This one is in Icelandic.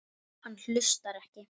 Hann hlustar ekki.